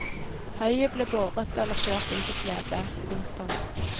Høyet ble båret eller kjørt inn på slede. punktum